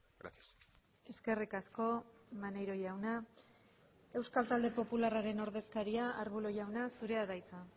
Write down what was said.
gracias eskerrik asko maneiro jauna euskal talde popularraren ordezkaria arbulo jauna zurea da hitza